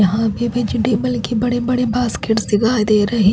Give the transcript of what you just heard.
यहां भी बीच टेबल के बड़े बड़े बास्केट दिखाई दे रहे--